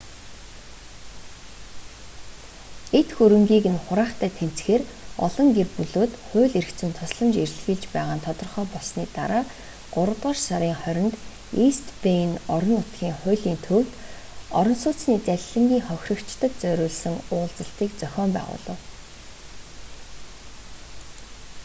эд хөрөнгийг нь хураахтай тэмцэхээр олон гэр бүлүүд хууль эрх зүйн тусламж эрэлхийлж байгаа нь тодорхой болсоны дараа гуравдугаар сарын 20-нд ийст бэйн орон нутгийн хуулийн төвд орон сууцны залилангийн хохирогчдод зориулсан уулзалтыг зохион байгуулав